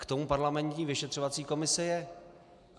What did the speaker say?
K tomu parlamentní vyšetřovací komise je.